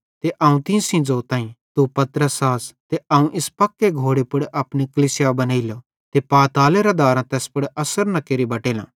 ते अवं तीं सेइं ज़ोताईं तू पतरस आस ते अवं इस पक्के घोड़े पुड़ अपनी कलीसिया बनेइलो ते पातालेरां दारां तैस पुड़ अस्सर न केरि बटेलां